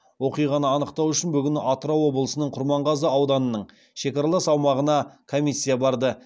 оқиғаны анықтау үшін бүгін атырау облысының құрманғазы ауданының шекаралас аумағына комиссия барды